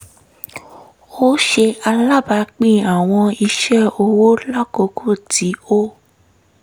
ó ṣe alábàápín àwọn iṣẹ́-ọwọ́ lákòókò tí ó